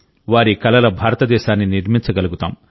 వారి కలల భారతదేశాన్ని నిర్మించగలుగుతాం